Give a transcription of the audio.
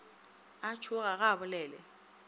a tšhoga ga a bolele